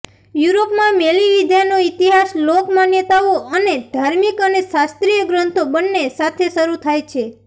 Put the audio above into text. યુરોપમાં મેલીવિદ્યાનો ઇતિહાસ લોક માન્યતાઓ અને ધાર્મિક અને શાસ્ત્રીય ગ્રંથો બંને સાથે શરૂ થાય છે